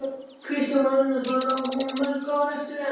Kristján Már Unnarsson: Á hún mörg ár eftir enn?